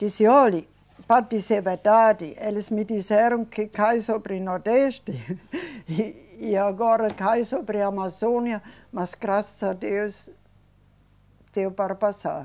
Disse, olhe, para dizer a verdade, eles me disseram que cai sobre o Nordeste e, e agora cai sobre a Amazônia, mas, graças a Deus, deu para passar.